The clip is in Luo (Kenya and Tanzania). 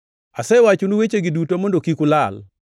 “Asewachonu wechegi duto mondo kik ulal.